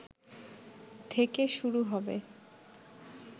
থেকে শুরু হবে